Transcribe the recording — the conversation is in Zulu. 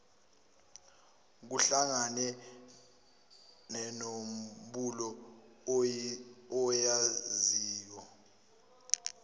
kuhlangane nenombolo oyaziyo